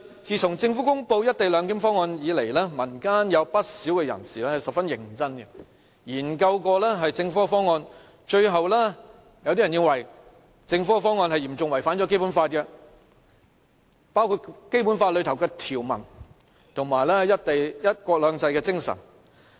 自從政府公布"一地兩檢"方案以來，民間有不少人士十分認真的研究政府的方案，有些人最後認為政府的方案嚴重違反《基本法》，包括《基本法》的條文及"一國兩制"的精神。